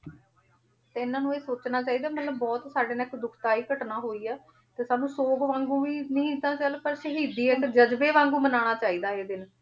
ਤੇ ਇਹਨਾਂ ਨੂੰ ਇਹ ਸੋਚਣਾ ਚਾਹੀਦਾ ਮਤਲਬ ਬਹੁਤ ਸਾਡੇ ਨਾਲ ਇੱਕ ਦੁਖਦਾਈ ਘਟਨਾ ਹੋਈ ਹੈ, ਤੇ ਸਾਨੂੰ ਸੋਗ ਵਾਂਗੂ ਹੀ ਨਹੀਂ ਤਾਂ ਚੱਲ ਪਰ ਸ਼ਹੀਦੀ ਇੱਕ ਜਜ਼ਬੇ ਵਾਂਗੂ ਮਨਾਉਣਾ ਚਾਹੀਦਾ ਇਹ ਦਿਨ।